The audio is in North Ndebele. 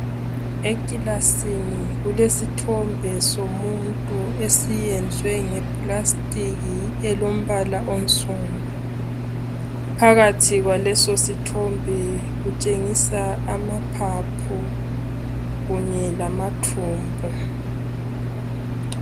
Emaclassini kulesithombe somuntu eseziwe ngaplastiki elombala onsundu phakathi kwaleso sithombe kutshengisa amaphaphu kunye lamathumbu